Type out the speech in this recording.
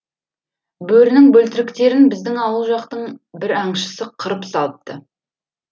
бөрінің бөлтіріктерін біздің ауыл жақтың бір аңшысы қырып салыпты